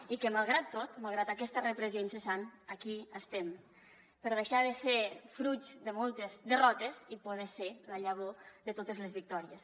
i que malgrat tot malgrat aquesta repressió incessant aquí estem per deixar de ser fruit de moltes derrotes i poder ser la llavor de totes les victòries